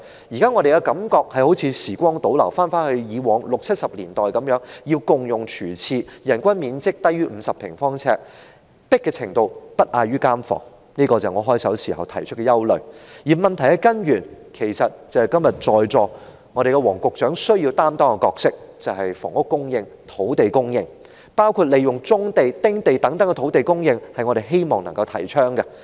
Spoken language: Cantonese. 現時的感覺好像時光倒流，回到以前的六七十年代，市民要共用廚廁、人均面積低於50平方呎、擠迫程度不亞於監房，這正是我在發言開首時提出的憂慮，而要從根源解決問題，正正是在席的黃局長今天所擔當的角色，也就是房屋供應和土地供應，包括"棕地"、"丁地"等土地的供應，這是我們希望提倡的。